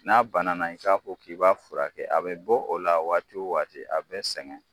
N'a bana na i k'a k'i b'a furakɛ a bɛ bɔ o la waati wo waati a bɛ sɛgɛn.